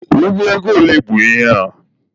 Ụgụ ego ole bụ ihe a?